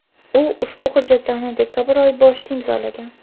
u ushbu hujjatlarni dekabr oyi boshida imzolagan.